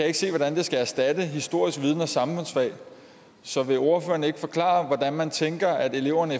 ikke se hvordan det skal erstatte historisk viden og samfundsfag så vil ordføreren ikke forklare hvordan man tænker at eleverne